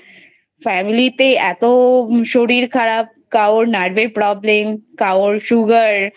Family তে এতো শরীর খারাপ কারোর Nerve এর Problem কারোর Sugar